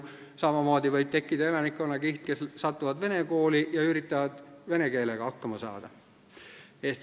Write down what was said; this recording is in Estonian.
Samamoodi võib tekkida elanikkonnakiht, kes satub vene kooli ja üritab vene keelega hakkama saada.